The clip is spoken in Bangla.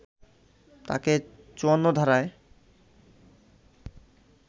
তাকে ৫৪ ধারায়